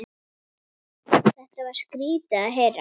Þetta var skrýtið að heyra.